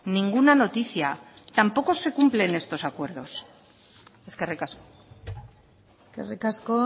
ninguna noticia tampoco se cumplen estos acuerdos eskerrik asko eskerrik asko